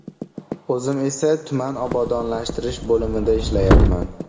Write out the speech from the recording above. O‘zim esa tuman obodonlashtirish bo‘limida ishlayapman.